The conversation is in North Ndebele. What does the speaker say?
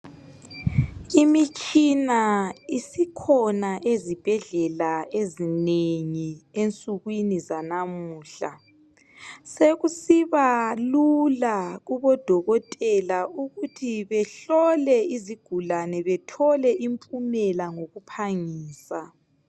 Imitshina isikhona ezibhedlela ezinengi ensekwini zanamuhla sokusiba lula kubodokotela ukuthi behlole izigulani bethole impumela ngokuphangisa